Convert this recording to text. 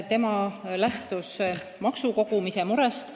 Tema lähtub maksude kogumise murest.